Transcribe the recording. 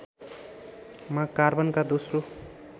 मा कार्बनका दोस्रो